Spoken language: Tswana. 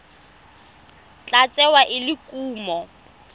tla tsewa e le kumo